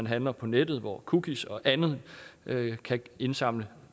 handle på nettet hvor cookies og andet kan indsamle